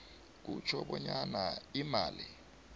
kutjho bonyana imali